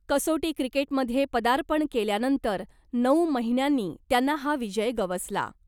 कसोटी क्रिकेटमध्ये पदार्पण केल्यानंतर नऊ महिन्यांनी त्यांना हा विजय गवसला .